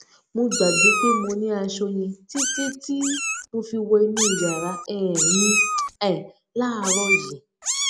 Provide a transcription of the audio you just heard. mo gbàgbé pé mo ní aṣọ yẹn títí tí mo fi wo inú yàrá um mi um láàárò yìí